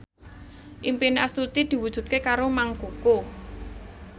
impine Astuti diwujudke karo Mang Koko